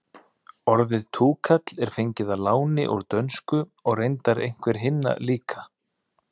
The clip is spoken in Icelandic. orðið túkall er fengið að láni úr dönsku og reyndar einhver hinna líka